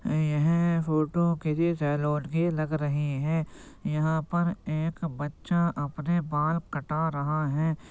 यह फोटो किसी सेलून की लग रही हैं। यहाँ पर एक बच्चा अपने बाल कटा रहा है।